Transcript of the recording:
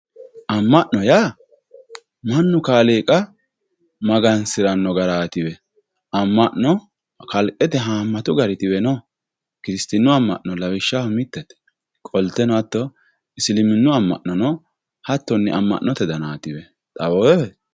amma'no yaa mannu kaaliiqa magansiranno garaatiwe amma'no kalqete haammatu garitiwe no. kiristinnu amma'no lawishshaho mittete qolteno hatto isiliminnu amma'nono hattonni amma'note danaatiwe lawewoohe.